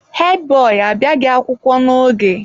Hedi boyi abịaghị akwụkwọ n'oge ụnyaahụ.